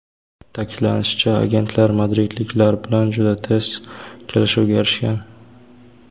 Ta’kidlanishicha, agentlar madridliklar bilan juda tez kelishuvga erishgan.